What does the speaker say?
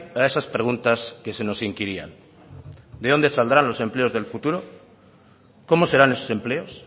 a esas preguntas que se nos inquirían de dónde saldrán los empleos del futuro cómo serán esos empleos